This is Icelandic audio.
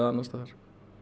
annars staðar